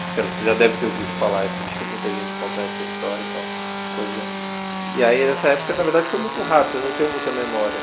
Você não você já deve ter ouvido falar isso, de muita gente contar essa história, que é uma coisa... E aí, nessa época, na verdade, foi muito rápido, eu não tenho muita memória.